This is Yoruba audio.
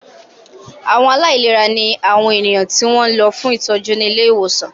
Àwọn aláìlera ní àwọn ènìyàn tí wọ́n lọ fún ìtọ́jú ní ilé ìwòsàn